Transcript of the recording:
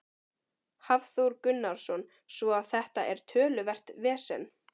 Hafþór Gunnarsson: Svo að þetta er töluvert vesen?